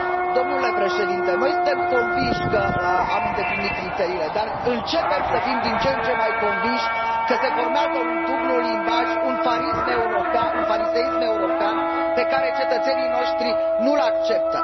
Domnule președinte, noi suntem convinși că am îndeplinit criteriile, dar începem să fim din ce în ce mai convinși că se formează un dublu limbaj, un fariseism european pe care cetățenii noștri nu l acceptă.